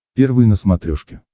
первый на смотрешке